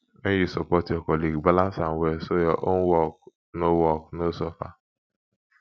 when you support your colleague balance am well so your own work no work no suffer